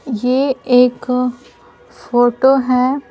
ये एक फोटो है ।